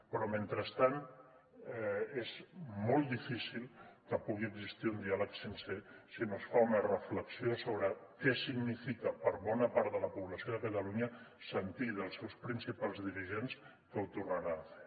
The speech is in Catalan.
però mentrestant és molt difícil que pugui existir un diàleg sincer si no es fa una reflexió sobre què significa per a bona part de la població de catalunya sentir dels seus principals dirigents ho tornarem a fer